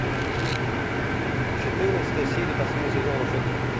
четырнадцатая серия последнего сезона волшебники